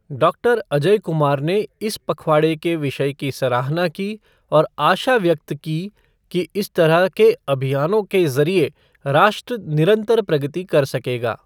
Doctor Ajay Kumar ने इस पखवाड़े के विषय की सराहना की और आशा व्यक्त की कि इस तरह के अभियानों के जरिए राष्ट्र निरंतर प्रगति कर सकेगा।